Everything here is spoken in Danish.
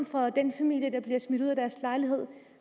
for den familie der bliver smidt ud af sin lejlighed